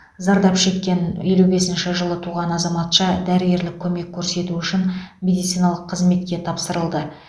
зардап шеккен елу бесінші жылы туған азаматша дәрігерлік көмек көрсету үшін медициналық қызметке тапсырылды